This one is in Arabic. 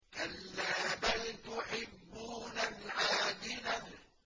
كَلَّا بَلْ تُحِبُّونَ الْعَاجِلَةَ